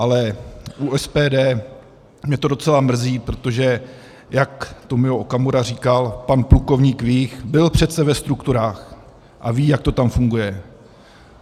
Ale u SPD mě to docela mrzí, protože jak Tomio Okamura říkal, pan plukovník Vích byl přece ve strukturách a ví, jak to tam funguje.